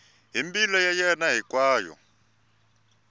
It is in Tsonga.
hi mbilu ya yena hinkwayo